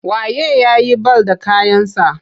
Wa ye ya yi bal da kayansa?